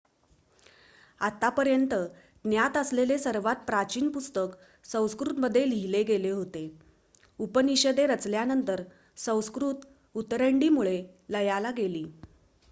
आतापर्यंत ज्ञात असलेले सर्वात प्राचीन पुस्तक संस्कृत मध्ये लिहिले गेले होते उपनिषदे रचल्यानंतर संस्कृत उतरंडी मुळे लयाला गेली